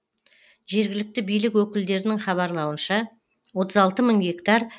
жергілікті билік өкілдерінің хабарлауынша отыз алты мың гектар